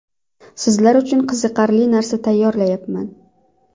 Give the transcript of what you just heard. Sizlar uchun qiziqarli narsa tayyorlayapman.